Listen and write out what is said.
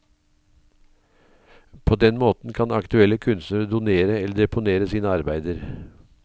På den måten kan aktuelle kunstnere donere eller deponere sine arbeider.